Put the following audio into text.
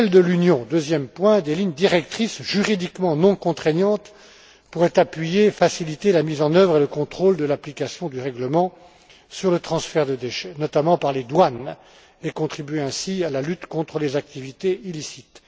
À l'échelle de l'Union, des lignes directrices juridiquement non contraignantes pourraient appuyer et faciliter la mise en œuvre et le contrôle de l'application du règlement sur le transfert de déchets, notamment par les douanes, et contribuer ainsi à la lutte contre les activités illicites.